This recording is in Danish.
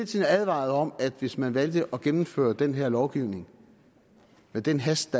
tiden advaret om at hvis man valgte at gennemføre den her lovgivning med den hast